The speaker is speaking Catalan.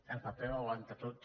el paper ho aguanta tot